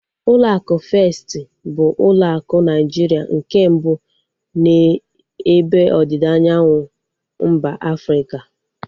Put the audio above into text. Ụlọ akụ Festi bụ ụlọ akụ Naijiria nke mbụ n'ebe ọdịda anyanwụ mba Afrịka